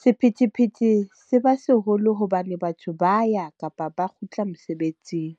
Sephethephethe se ba seholo hobane batho ba ya kapa ba kgutla mosebetsing.